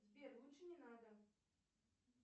сбер лучше не надо